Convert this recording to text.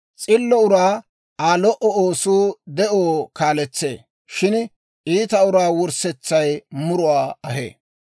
S'illo uraa Aa lo"o oosuu de'oo kaaletsee; shin iita uraa wurssetsay muruwaa ahee.